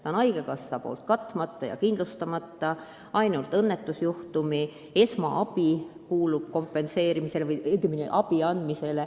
Ta on haigekassa poolt kindlustamata ning ainult õnnetusjuhtumi esmaabi kuulub kompenseerimisele.